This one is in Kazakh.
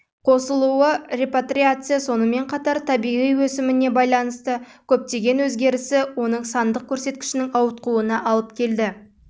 қосылуы репатриация сонымен қатар табиғи өсіміне байланысты көптеген өзгерісі оның сандық көрсеткішінің ауытқуына алып келді